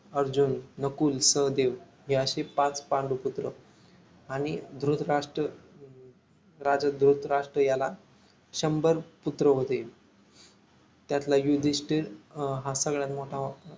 अर्जुन नकुल सहदेव हे असे पाच पांडव पुत्र आणि धृतराष्ट्र राजा धृतराष्ट्र याला शंभर पुत्र होते त्यातल युधिष्टिर हा सगळ्यात मोठा